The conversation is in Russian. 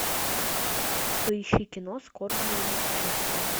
поищи кино скорбное бесчувствие